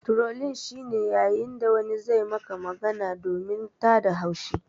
Trolling shi ne yayin da wani zai Maka magana domin tada haushi.